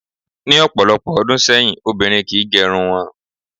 Ní ò̩pò̩lo̩pò̩ o̩dún sé̩yìn, obìnrin kì í ge̩run wo̩n